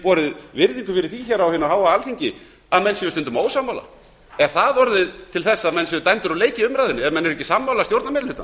borið virðingu fyrir því að menn séu stundum ósammála er það orðið til þess að menn séu dæmdir úr leik í umræðunni ef menn eru ekki sammála stjórnarmeirihlutanum